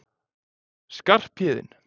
Skarphéðinn